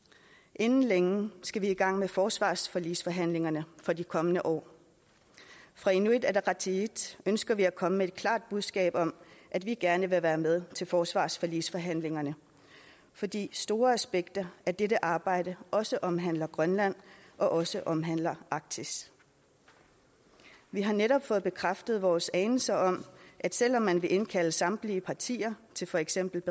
inden længe skal vi i gang med forsvarsforligsforhandlingerne for de kommende år fra inuit ataqatigiits ønsker vi at komme med et klart budskab om at vi gerne vil være med til forsvarsforligsforhandlingerne fordi store aspekter af dette arbejde også omhandler grønland og også omhandler arktis vi har netop fået bekræftet vores anelse om at selv om man vil indkalde samtlige partier til for eksempel